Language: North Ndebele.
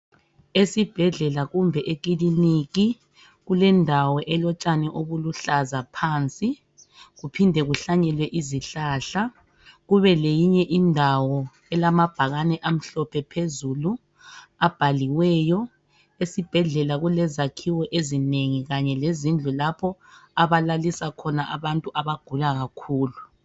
Esibhedlela kumbe ekiliniki, kulendawo elotshani obuluhlaza phansi. Kuphinde kuhlanyelwe izihlahla. Kubeleyinye indawo, elamabhakani amhlophe phezulu. Abhaliweyo. Esibhedlela kulezakhiwo ezinengi. Kanye lezindlu lapho abalalisa abantu abagula kakhulu.